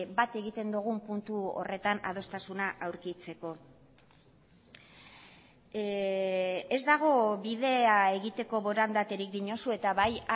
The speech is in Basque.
bat egiten dugun puntu horretan adostasuna aurkitzeko ez dago bidea egiteko borondaterik diozu eta bai